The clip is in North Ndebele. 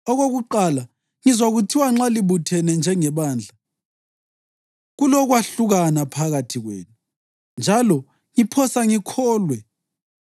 Okokuqala, ngizwa kuthiwa nxa libuthene njengebandla, kulokwahlukana phakathi kwenu, njalo ngiphosa ngikholwe.